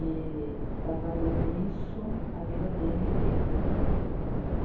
E trabalhou nisso a vida dele inteira.